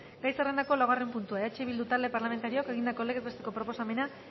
gai zerrendako laugarren puntua eh bildu talde parlamentarioak egindako legez besteko proposamena